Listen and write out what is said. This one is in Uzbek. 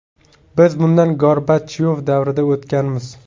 Biz bundan Gorbachyov davrida o‘tganmiz.